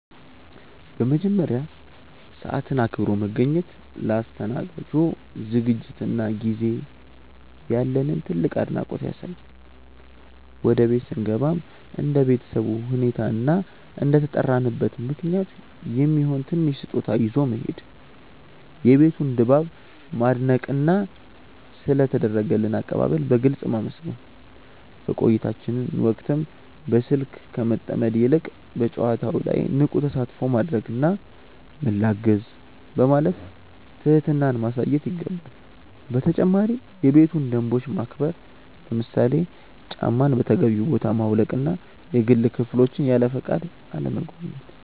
በመጀመሪያ፣ ሰዓትን አክብሮ መገኘት ለአስተናጋጁ ዝግጅትና ጊዜ ያለንን ትልቅ አድናቆት ያሳያል። ወደ ቤት ስንገባም እንደ ቤተሰቡ ሁኔታ እና እንደተጠራንበት ምክንያት የሚሆን ትንሽ ስጦታ ይዞ መሄድ፣ የቤቱን ድባብ ማድነቅና ስለ ተደረገልን አቀባበል በግልጽ ማመስገን። በቆይታችን ወቅትም በስልክ ከመጠመድ ይልቅ በጨዋታው ላይ ንቁ ተሳትፎ ማድረግና "ምን ላግዝ?" በማለት ትህትናን ማሳየት ይገባል። በተጨማሪም የቤቱን ደንቦች ማክበር፣ ለምሳሌ ጫማን በተገቢው ቦታ ማውለቅና የግል ክፍሎችን ያለፈቃድ አለመጎብኘት።